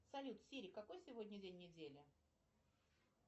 салют сири какой сегодня день недели